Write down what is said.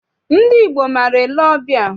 Ndị Igbo maara ele ọbịa.